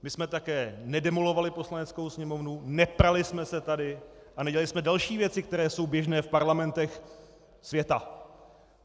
My jsme také nedemolovali Poslaneckou sněmovnu, neprali jsme se tady a nedělali jsme další věci, které jsou běžné v parlamentech světa.